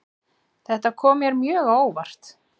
Þetta kom mér mjög á óvart